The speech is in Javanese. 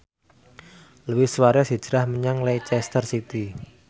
Luis Suarez hijrah menyang Leicester City